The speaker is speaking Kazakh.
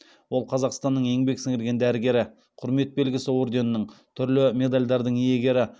ол қазақстанның еңбек сіңірген дәрігері құрмет белгісі орденінің түрлі медальдардың иегері